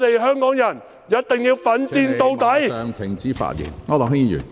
香港人一定要奮戰到底。